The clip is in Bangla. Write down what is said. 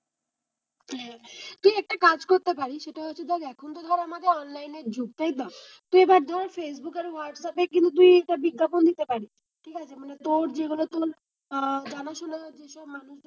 তুই একটা কাজ করতে পারিস সেটা হচ্ছে এখন তো ধর আমাদের অনলাইন এর যুগ তাইতো? তুই এবার ধর ফেসবুকে হোয়াটসঅ্যাপে বিজ্ঞাপন যদি দিতে পারিস ঠিক আছে মানে তোর যেগুলো তোর আহ জানাশোনা আছে মানুষজন,